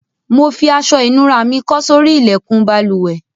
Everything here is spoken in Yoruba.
Mo fi aso ìnura mi kó sórí ilékùn balùwè